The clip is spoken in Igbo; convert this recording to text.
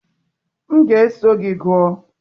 M ga-eso gị gụọ.